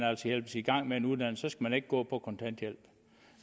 hjælpes i gang med en uddannelse så skal man ikke gå på kontanthjælp